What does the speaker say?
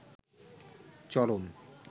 চরম